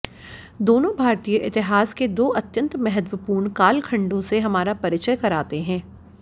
दोनों भारतीय इतिहास के दो अत्यंत महत्त्वपूर्ण कालखंडों से हमारा परिचय कराते हैं